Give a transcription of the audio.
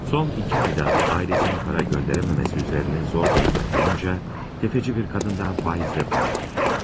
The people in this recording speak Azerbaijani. Son iki ayda ailəsinin pul göndərə bilməməsi üzərinə zor durumda qalınca, təfəçi bir qadından faizlə pul alır.